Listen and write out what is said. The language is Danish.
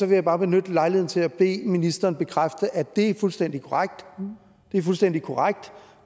jeg bare benytte lejligheden til at bede ministeren bekræfte at det er fuldstændig korrekt fuldstændig korrekt